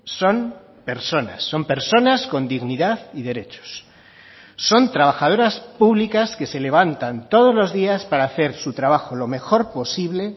son personas son personas con dignidad y derechos son trabajadoras públicas que se levantan todos los días para hacer su trabajo lo mejor posible